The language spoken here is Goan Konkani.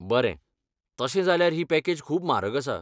बरें, तशें जाल्यार ही पॅकेज खूब म्हारग आसा.